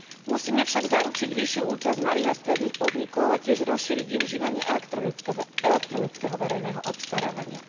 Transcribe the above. Musíme však zaručiť vyššiu účasť malých a stredných podnikov a tiež rozšíriť využívanie elektronického verejného obstarávania.